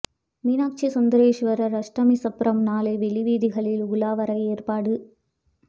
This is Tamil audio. மீனாட்சி சுந்தரேசுவரா் அஷ்டமி சப்பரம் நாளை வெளி வீதிகளில் உலா வர ஏற்பாடு